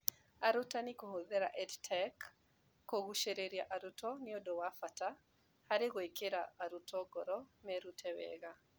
Arutani ' kũhũthĩra EdTech kũgucĩrĩria arutwo nĩ ũndũ wa bata harĩ gwĩkĩra arutwo ngoro merute wega.